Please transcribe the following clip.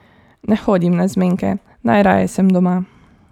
Ne hodim na zmenke, najraje sem doma.